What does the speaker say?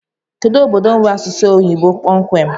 Kedu obodo nwee asụsụ oyibo kpọmkwem?